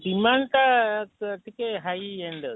demand ଟା ଟିକେ highend ଅଛି,